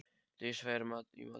Dís, hvað er í matinn?